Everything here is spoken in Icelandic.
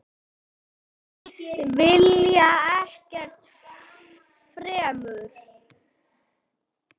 Vilja ekkert fremur.